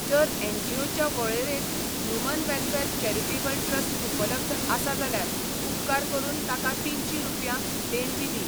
जर एनजीओच्या वळेरेंत ह्यूमन वॅलफॅर चॅरिटेबल ट्रस्ट उपलब्ध आसा जाल्यार उपकार करून ताका तीनशीं रुपया देणगी दी.